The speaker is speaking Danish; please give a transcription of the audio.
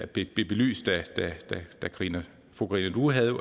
blev belyst da fru karina due havde